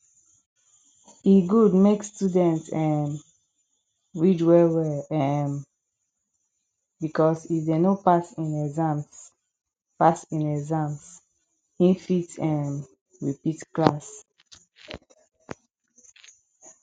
e good make student um read well well um because if dem no pass in exams pass in exams in fit um repeat class